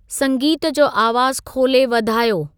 संगीत जो आवाज़ु खोले वधायो